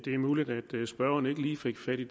række